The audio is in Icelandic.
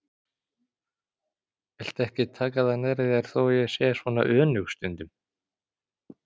Viltu ekki taka það nærri þér þó að ég sé svona önug stundum.